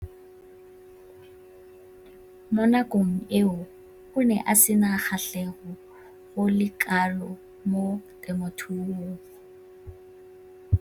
Mo nakong eo o ne a sena kgatlhego go le kalo mo temothuong.